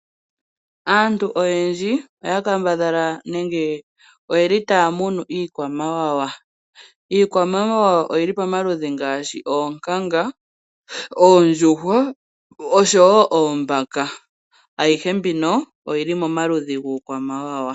Aantu oyendji oya kambadhala nenge oyeli taya munu iikwamawawa. Iikwamawawa oyili pamaludhi ngaashi oonkanga, oondjuhwa oshowo oombaka. Ayihe mbino oyili momaludhi guukwamawawa.